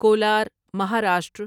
Kolar Maharashtra